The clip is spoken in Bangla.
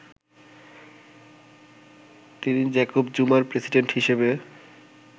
তিনি জ্যাকব জুমার প্রেসিডেন্ট হিসেবে